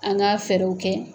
An k'a fɛɛrɛw kɛ.